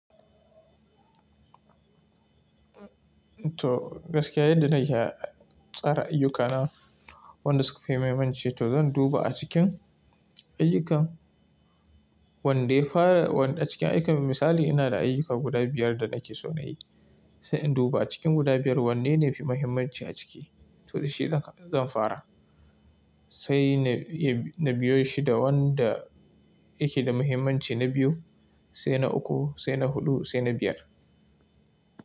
To gaskiya yadda nake tsara ayyukana wanda suka fi muhimmanci to zan duba a cikin ayyukan wanda yafara wanda a cikin ayyuka misali ina da ayyuka guda biyar da nake so na yi sai in duba cikin guda biyar wanne ne yafi muhimmanci a ciki to dashi zan fara sai na biyo shi da wanda yake da muhimmanci na biyu sai na uku sai na huɗu sai na biyar.